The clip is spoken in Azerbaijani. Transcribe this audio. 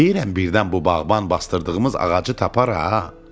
Deyirəm birdən bu bağban basdırdığımız ağacı tapar ha.